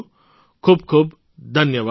ખૂબ ખૂબ ધન્યવાદ